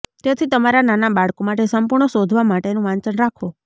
તેથી તમારા નાના બાળકો માટે સંપૂર્ણ શોધવા માટેનું વાંચન રાખો